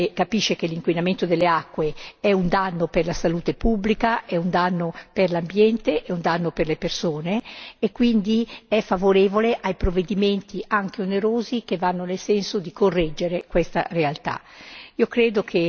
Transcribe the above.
Un'opinione pubblica che capisce che l'inquinamento delle acque è un danno per la salute pubblica, è un danno per l'ambiente, è un danno per le persone e quindi è favorevole ai provvedimenti anche onerosi che vanno nel senso di correggere questa realtà.